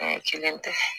kelen tɛ